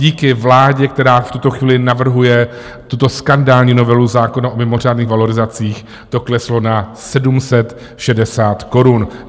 Díky vládě, která v tuto chvíli navrhuje tuto skandální novelu zákona o mimořádných valorizacích, to kleslo na 760 korun.